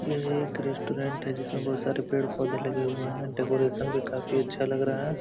ये एक रेस्टोरेंट है जिसमे बोहोत सारे पेड़-पौधे लगे हुए हैं। डेकोरेशन भी काफी अच्छा लग रहा है।